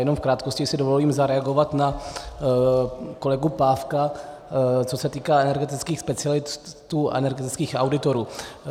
Jenom v krátkosti si dovolím zareagovat na kolegu Pávka, co se týká energetických specialistů a energetických auditorů.